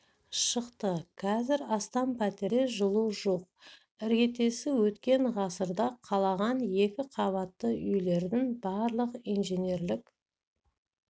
шықты қазір астам пәтерде жылу жоқ іргетесі өткен ғасырда қаланған екі қабатты үйлердің барлық инженерлік